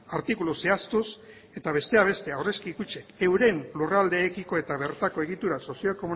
artikulu zehaztuz eta besteak beste aurrezki kutxek euren lurraldeekiko eta bertako egitura sozio